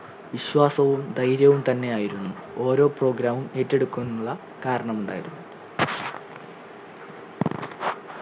വിശ്വാസവും ധൈര്യവും തന്നെ ആയിരുന്നു ഓരോ program ഉം ഏറ്റെടുക്കുന്നുള്ള കരണമുണ്ടായത്